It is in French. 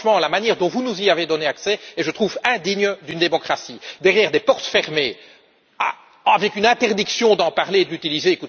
Car, franchement, la manière dont vous nous y avez donné accès est indigne d'une démocratie derrière des portes fermées, avec une interdiction d'en parler et de les utiliser